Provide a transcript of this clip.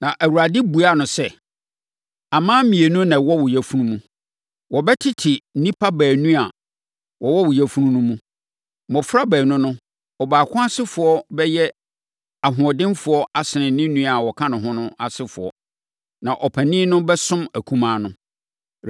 Awurade buaa no sɛ, “Aman mmienu na wɔwɔ wo yafunu mu. Wɔbɛtete nnipa baanu a wɔwɔ wo yafunu mu no mu. Mmɔfra baanu no, ɔbaako asefoɔ bɛyɛ ahoɔdenfoɔ asene ne nua a ɔka ne ho no asefoɔ. Na ɔpanin no bɛsom akumaa no.”